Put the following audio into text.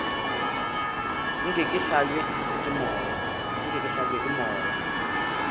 nke ke hlabje ke moya